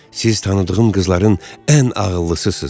Siz tanıdığım qızların ən ağıllısısınız.